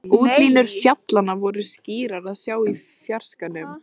Útlínur fjallanna voru skýrar að sjá í fjarskanum.